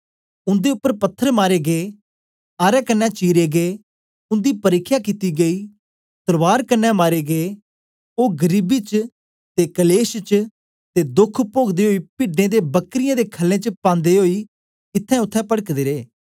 उन्दे उपर पत्थर मारे गै आरे कन्ने चीरे गै उन्दी परिख्या कित्ती गेई तलवार कन्ने मारे गै ओ गरीबी च ते कलेश च ते दोख पोगदे ओई पिड्डें ते बकरयें दी खल्लें च पांदे ओई इत्त्थैंउत्थें पड़कदे रे